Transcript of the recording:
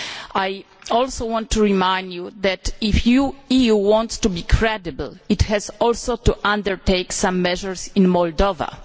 I also want to remind you that, if the EU wants to be credible, it also has to undertake some measures in Moldova.